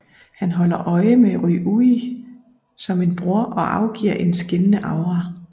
Han holder øje med Ryuuji som en bror og afgiver en skinnende aura